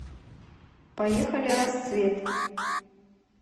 поехали расцвет